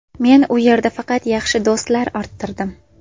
Men u yerda faqat yaxshi do‘stlar orttirdim.